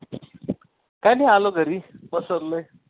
काय नाही आलो घरी पसरलोय.